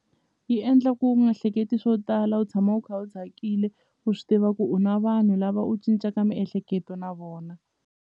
Yi endla ku u nga hleketi swo tala u tshama u kha u tsakile u swi tiva ku u na vanhu lava u cincaka miehleketo na vona.